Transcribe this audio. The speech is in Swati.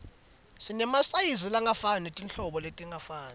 sinemasayizi langefani netinhlobo letingafani